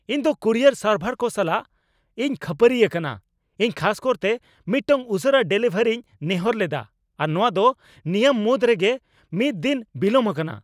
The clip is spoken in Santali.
ᱤᱧᱫᱚ ᱠᱩᱨᱤᱭᱟᱨ ᱥᱟᱨᱵᱷᱟᱨ ᱠᱚ ᱥᱟᱞᱟᱜ ᱤᱧ ᱠᱷᱟᱹᱯᱟᱹᱨᱤ ᱟᱠᱟᱱᱟ ᱾ᱤᱧ ᱠᱷᱟᱥᱠᱟᱨᱛᱮ ᱢᱤᱫᱴᱟᱝ ᱩᱥᱟᱹᱨᱟ ᱰᱮᱞᱤᱵᱷᱟᱨᱤᱧ ᱱᱮᱦᱚᱨ ᱞᱮᱫᱟ ᱟᱨ ᱱᱚᱶᱟ ᱫᱚ ᱱᱤᱭᱟᱹᱢᱩᱫ ᱨᱮᱜᱮ ᱢᱤᱫᱼᱫᱤᱱ ᱵᱤᱞᱚᱢ ᱟᱠᱟᱱᱟ !